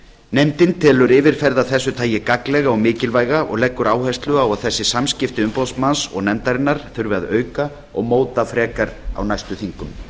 nefndin telur yfirferð af þessu tagi gagnlega og mikilvæga og leggur áherslu á að þessi samskipti umboðsmanns og nefndarinnar þurfi að auka og móta frekar á næstu þingum